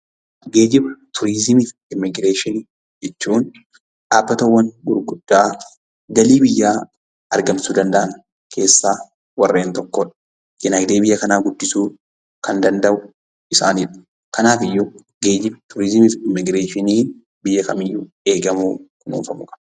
Geejjiba, turizimii fi immigireeshinii jechuun dhabbatawwan gurguddaa galii biyyaa argamsiisuu danda'an keessaa warreen tokkoo dha. Diinagdee biyya kanaa guddisuu kan danda'u isaanii dha. Kanaafuu geejjiba, turizimii fi immigireeshinii biyya kamiiyyuu kunuunfamuu qabu.